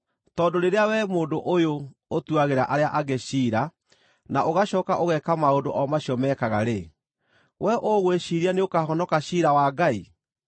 Tondũ rĩrĩa wee mũndũ ũyũ, ũtuagĩra arĩa angĩ ciira na ũgacooka ũgeeka maũndũ o macio mekaga-rĩ, wee ũgwĩciiria nĩũkahonoka ciira wa Ngai?